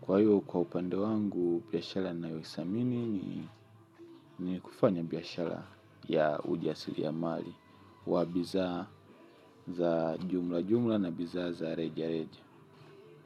Kwa hiyo kwa upande wangu biashala nayothamini ni kufanya biashala ya ujasiliamali wa bidhaa za jumla jumla na bidhaa za reja reja.